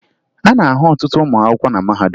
A na-ahụ ọtụtụ ụmụ akwụkwọ na mahadum